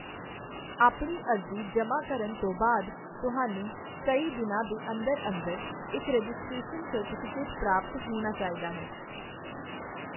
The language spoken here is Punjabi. ਆਪਣੀ ਅਰਜ਼ੀ ਜਮ੍ਹਾਂ ਕਰਨ ਤੋਂ ਬਾਅਦ, ਤੁਹਾਨੂੰ ਕਈ ਦਿਨਾਂ ਦੇ ਅੰਦਰ ਅੰਦਰ ਇੱਕ ਰਜਿਸਟ੍ਰੇਸ਼ਨ ਸਰਟੀਫਿਕੇਟ ਪ੍ਰਾਪਤ ਹੋਣਾ ਚਾਹੀਦਾ ਹੈ।